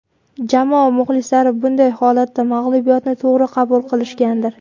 Jamoa muxlislari bunday holatda mag‘lubiyatni to‘g‘ri qabul qilishgandir?